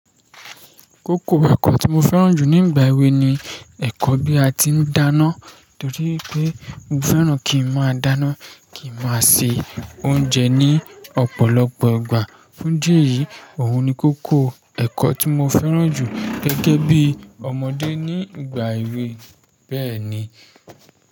Kókó ẹ̀kọ́ tí mo fẹ́ràn jù ní ìgbà èwe ni ẹ̀kọ́ bí a ti ń dáná torí pé mo fẹ́ràn kí n máa dáná, kí n máa se oúnjẹ ní ọ̀pọ̀lọpọ̀ ìgbà. Fún idí eyì í, òun ni kókó ẹ̀kọ́ tí mo fẹ́ràn jù gẹ́gẹ́ bí ọmọdé ní ìgbà èwe bẹ́ẹ̀ ni.